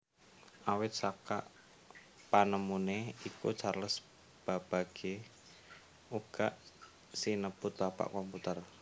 Awit saka panemune iku Charles Babbage uga sinebut bapak komputer